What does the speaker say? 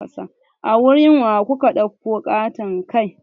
A wurin wa kuka ɗauko ƙaton kai?